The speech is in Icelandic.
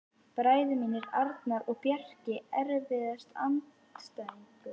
Bræður mínir Arnar og Bjarki Erfiðasti andstæðingur?